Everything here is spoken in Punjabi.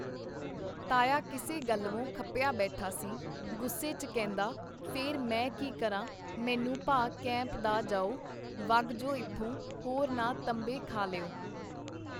ਤਾਇਆ ਕਿਸੇ ਗੱਲਵੋਂ ਖਪਿਆ ਬੈਠਾ ਸੀ ਗੁੱਸੇ ਚ ਕਹਿੰਦਾ ਫੇਰ ਮੈ ਕੀ ਕਰਾਂ ਮੈਨੂੰ ਭਾ ਕੈਂਪ ਦਾ ਜਾਓ ਵਗ ਜੌ ਇਥੋਂ ਹੋਰ ਨਾ ਤੰਬੇ ਖਾ ਲਿਓ.